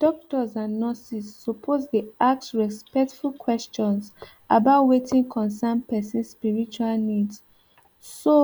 doctors and nurses suppose dey ask respectful questions about wetin concern person spiritual needs so